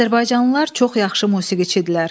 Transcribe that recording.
Azərbaycanlılar çox yaxşı musiqiçidirlər.